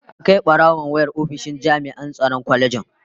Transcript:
An Kai barawon wayar ofishin jami'an tsaron kwalejin